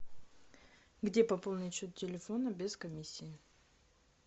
где пополнить счет телефона без комиссии